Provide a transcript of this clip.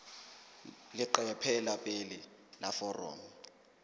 leqephe la pele la foromo